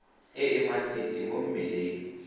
e e masisi mo mmeleng